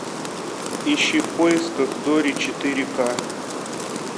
ищи в поисках дори четыре ка